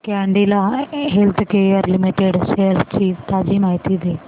Cadila healthcare limited shares ची ताजी माहिती दे